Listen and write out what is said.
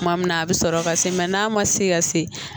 Kuma min na a bi sɔrɔ ka se n'a ma se ka se